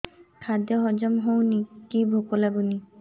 ଖାଦ୍ୟ ହଜମ ହଉନି କି ଭୋକ ଲାଗୁନି